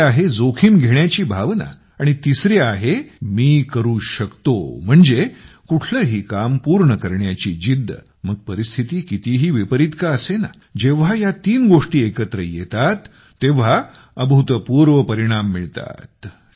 दुसरी आहे जजोखीम घेण्याची भावना आणि तिसरी आहे मी करू शकते म्हणजे कुठलंही काम पूर्ण करण्याची जिद्द मग परिस्थिती कितीही विपरीत का असेना जेव्हा या तीन गोष्टी परस्परांशी मिळताततेव्हा अभूतपूर्व परिणाम मिळतात